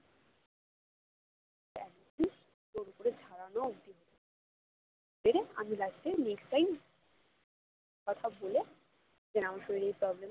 জোর করে ঝরানো অবধি আমি last এ কথা বলে যে আমার শরীরে তবে